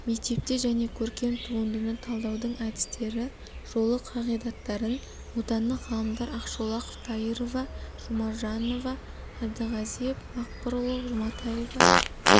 мектепте және көркем туындыны талдаудың әдістері жолы қағидаттарын отандық ғалымдар ақшолақов дайырова жұмажанова әбдіғазиев мақпырұлы жұматева